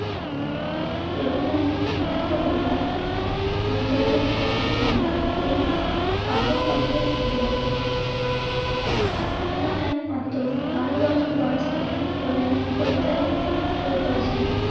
রবীন্দ্রনাথের বিখ্যাত কবিতা. নির্জনের স্বপ্নবঙ্গ এই কাব্য কন্ঠের অন্তর্গত. শোনা যায় মাত্র বারো বছর বয়স থেকে রবীন্দ্রনাথ কবিতা লিখতে শুরু করেছিলেন